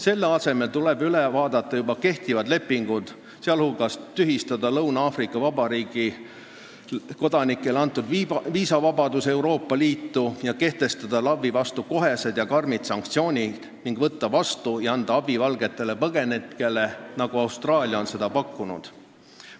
Selle asemel tuleb üle vaadata juba kehtivad lepingud, sh tühistada Lõuna-Aafrika Vabariigi kodanikele antud viisavabadus sõiduks Euroopa Liitu, ja kehtestada LAV-i vastu kohesed karmid sanktsioonid ning anda abi valgetele põgenikele, nagu Austraalia on seda pakkunud.